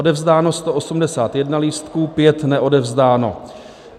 Odevzdáno 181 lístků, 5 neodevzdáno.